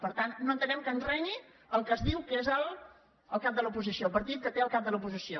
per tant no entenem que ens renyi el que es diu que és el cap de l’oposició el partit que té el cap de l’oposició